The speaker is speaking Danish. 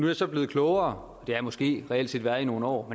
jeg så blevet klogere det jeg måske reelt set været i nogle år